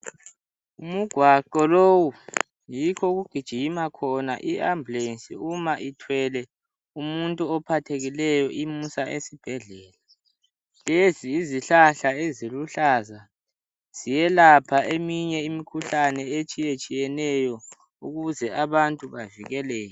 Umgwaqo lowu yikho okugijima khona iambulensi uma ithwele umuntu ophathekileyo imusa esibhedlela. Lezi yizihlahla eziluhlaza, ziyelapha eminye imikhuhlane etshiyetshiyeneyo ukuze abantu bavikeleke.